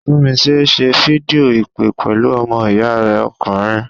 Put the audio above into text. Tunmise ń ṣe fídíò ìpè pẹ̀lú ọmọ ìyá rẹ̀ ọkùnrin.